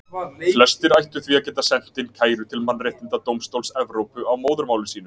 Flestir ættu því að geta sent inn kæru til Mannréttindadómstóls Evrópu á móðurmáli sínu.